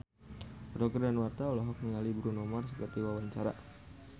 Roger Danuarta olohok ningali Bruno Mars keur diwawancara